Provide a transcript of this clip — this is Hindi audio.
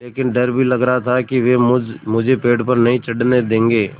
लेकिन डर भी लग रहा था कि वे मुझे पेड़ पर नहीं चढ़ने देंगे